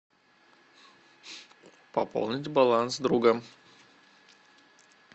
пополнить баланс друга